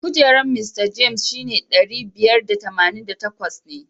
Kujerar Mista James shine ɗari biyar da tamanin da takwas ne.